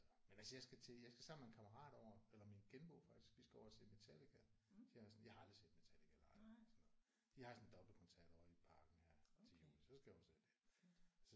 Men altså jeg skal til jeg skal sammen med en kammerat over eller min genbo faktisk vi skal over at se Metallica de har sådan jeg har aldrig set Metallica live eller sådan noget de har sådan en dobbeltkoncert ovre i Parken her til juli. Så skal jeg over og se det